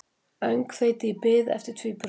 Öngþveiti í bið eftir tvíburunum